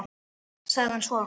sagði hann svo.